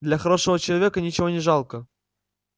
для хорошего человека ничего не жалко